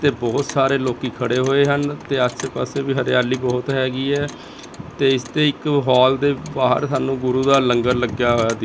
ਤੇ ਬਹੁਤ ਸਾਰੇ ਲੋਕੀ ਖੜੇ ਹੋਏ ਹਨ ਤੇ ਆਸੇ ਪਾਸੇ ਵੀ ਹਰਿਆਲੀ ਬਹੁਤ ਹੈਗੀ ਹੈ ਤੇ ਇਸ ਤੇ ਇੱਕ ਹਾਲ ਦੇ ਬਾਹਰ ਸਾਨੂੰ ਗੁਰੂ ਦਾ ਲੰਗਰ ਲੱਗਿਆ ਹੋਇਆ ਦਿ--